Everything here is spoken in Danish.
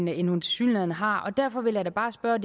end hun tilsyneladende har derfor vil jeg da bare spørge